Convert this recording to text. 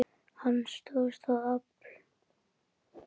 Hann stóðst það afl.